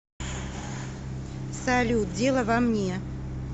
салют дело во мне